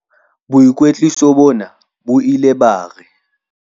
"Boikwetliso bona bo ile ba re"